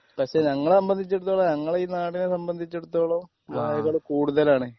പക്ഷേ ഞങ്ങളെ സംബന്ധിച്ചിടത്തോളം ഞങ്ങളെ ഈ നാടിനെ സംബന്ധിച്ചെടുത്തോളം വാഴകള് കൂടുതലാണ്.